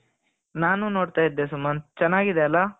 ನಾನು ನೋಡ್ತಾ ಇದ್ದೆ ಸುಮಂತ್ ಚೆನ್ನಾಗಿದೆ ಅಲ್ಲ,